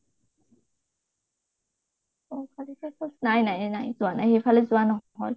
Nohkalikai falls নাই নাই নাই যোৱা নাই, সেইফালে যোৱা নহল